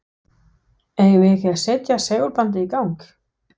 Eigum við ekki að setja segulbandið í gang?